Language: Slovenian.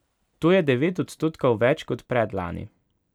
To je devet odstotkov več kot predlani.